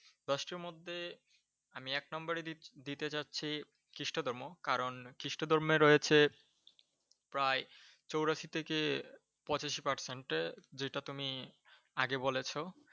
দশটির মধ্যে আমি এক নম্বর দি দিতে জাসছি খ্রিষ্ট ধর্ম। কারণ খ্রিষ্ট ধর্মে রয়েছে, প্রায় চুরাশি থেকে পঁচাশি Percent এ যেটা তুমি আগে বলেস।